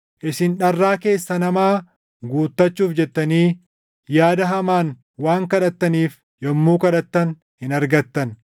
Isin dharraa keessan hamaa guutachuuf jettanii yaada hamaan waan kadhattaniif yommuu kadhattan hin argattan.